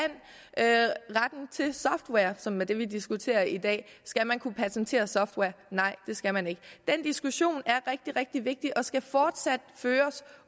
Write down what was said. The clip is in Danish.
retten til software som er det vi diskuterer i dag skal man kunne patentere software nej det skal man ikke den diskussion er rigtig rigtig vigtig og skal fortsat føres